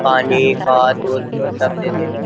पानी खाद दूध सब देते हैं।